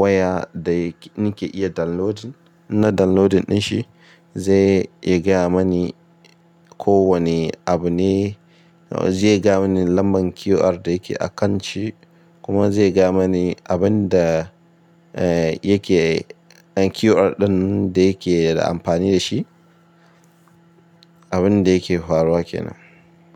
waya da ni ke iya downloadin. Na downloadin ɗin shi zai ya ga ya mani. Ko wane abu ne, zai ga mani lambar QR da yake a kan shi kuma zai ga mani abin da, eh, yake QR ɗin da yake da amfani da shi, abin da yake faruwa kenan.